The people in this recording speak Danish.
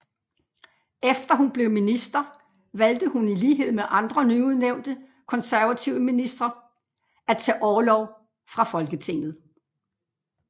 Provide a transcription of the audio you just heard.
Efter hun blev minister valgte hun i lighed med andre nyudnævnte konservative ministre at tage orlov fra Folketinget